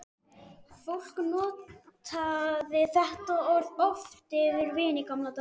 Fólk notaði þetta orð oft yfir vin í gamla daga.